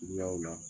Suguyaw la